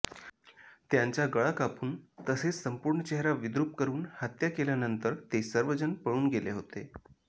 त्यांचा गळा कापून तसेच संपूर्ण चेहरा विद्रुप करून हत्या केल्यानंतर ते सर्वजण पळून गेले होते